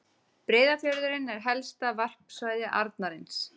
Breiðafjörðurinn er helsta varpsvæði arnarins.